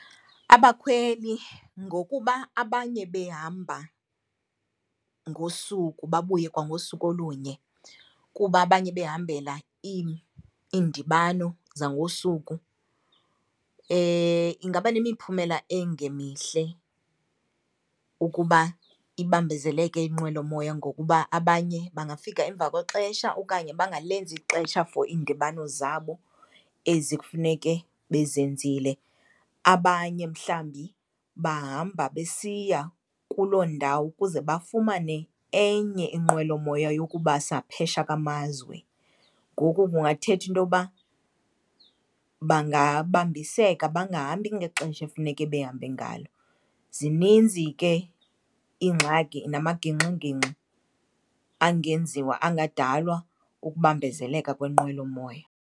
Abakhweli ngokuba abanye behamba ngosuku babuye kwangosuku olunye kuba abanye behambela iindibano zangosuku, ingaba nemiphumela engemihle ukuba ibambezeleke inqwelomoya ngokuba abanye bangafika emva kwexesha okanye bangalenzi ixesha for iindibano zabo ezi kufeneke bezenzile. Abanye mhlawumbi bahamba besiya kuloo ndawo ukuze bafumane enye inqwelomoya yokubasa phesha kwamazwe, ngoku kungathetha into yoba bangabambiseka bangahambi ngexesha efuneke bahambe ngalo. Zininzi ke iingxaki namagingxigingxi angenziwa angadalwa kukubambezeleka kwenqwelomoya.